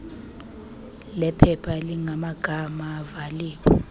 lephepha elinamagama ivaliwe